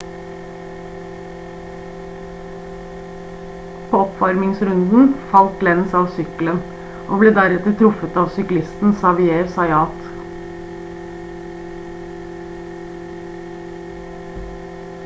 på oppvarmingsrunden falt lenz av sykkelen og ble deretter truffet av syklisten xavier zayat